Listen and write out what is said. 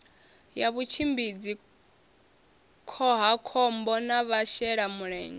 ya vhutshimbidzi khohakhombo na vhashelamulenzhe